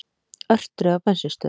Örtröð á bensínstöðvum